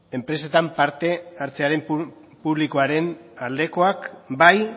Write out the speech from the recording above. enpresetan parte hartze publikoaren aldekoak bai